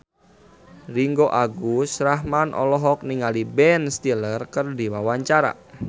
Ringgo Agus Rahman olohok ningali Ben Stiller keur diwawancara